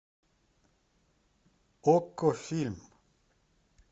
окко фильм